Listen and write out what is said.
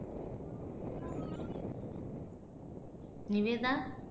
Nivetha